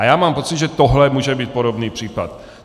A já mám pocit, že tohle může být podobný případ.